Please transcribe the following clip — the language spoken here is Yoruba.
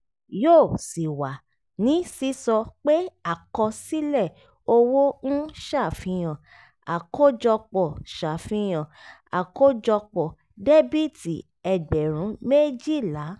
yóò sì wà ní sísọ pé àkọsílẹ̀ owó ń ṣàfihàn àkójọpọ̀ ṣàfihàn àkójọpọ̀ dẹ́bìtì ẹgbẹ̀rún méjìlá